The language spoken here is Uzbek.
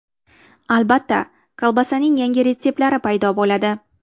Albatta kolbasaning yangi retseptlari paydo bo‘ladi.